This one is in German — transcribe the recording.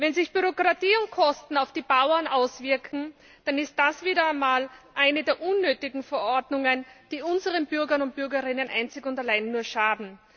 Wenn sich Bürokratie und Kosten negativ auf die Bauern auswirken, dann ist das wieder einmal eine der unnötigen Verordnungen, die unseren Bürgern und Bürgerinnen einzig und allein nur schaden.